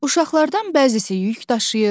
Uşaqlardan bəzisi yük daşıyır.